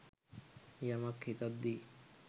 යමක් හිතද්දි